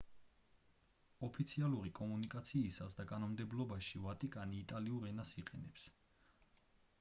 ოფიციალური კომუნიკაციისას და კანონმდებლობაში ვატიკანი იტალიურ ენას იყენებს